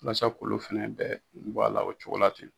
Walasa k'olu fɛnɛ bɛɛ bɔ a la o cogo la ten.